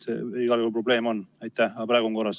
Igal juhul probleem on, aga praegu on korras.